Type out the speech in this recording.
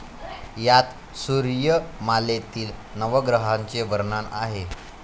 यात सूर्यमालेतील नवग्रहांचे वर्णन आहे.